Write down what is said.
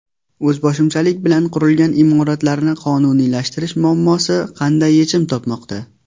O‘zboshimchalik bilan qurilgan imoratlarni qonuniylashtirish muammosi qanday yechim topmoqda?.